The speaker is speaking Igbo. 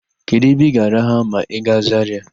Kedụ ebe ị ga-araha ma ị gaa Zarịa?